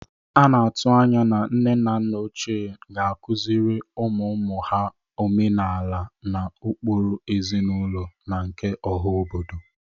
A na-atụ anya na nne na nna ochie ga-akụzịrị ụmụụmụ ha omenala na ụkpụrụ ezinaụlọ na nke oha obodo.